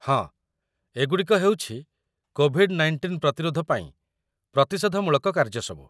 ହଁ, ଏଗୁଡ଼ିକ ହେଉଛି କୋଭିଡ-19 ପ୍ରତିରୋଧ ପାଇଁ ପ୍ରତିଷେଧମୂଳକ କାର୍ଯ୍ୟସବୁ |